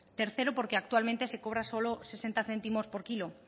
tercero porque actualmente se cobra solo sesenta céntimos por kilo